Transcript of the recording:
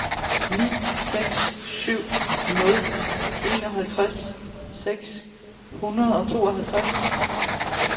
ni seks syv nul enoghalvtreds seks hundrede og tooghalvtreds